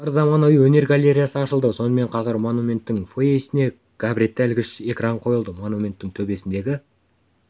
бар заманауи өнер галереясы ашылды сонымен қатар монументтің фойесіне габаритті иілгіш экран қойылды монументтің төбесіндегі